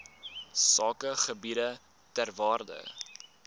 sakegebiede ter waarde